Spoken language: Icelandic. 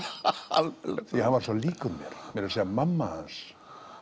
því hann er svo líkur mér meira að segja mamma hans